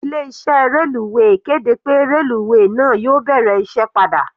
Ilé iṣẹ́ reluwe kéde pé reluwe náà yóò bẹ̀rẹ̀ iṣẹ́ padà.